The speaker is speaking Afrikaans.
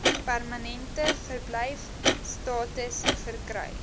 permanente verblyfstatus verkry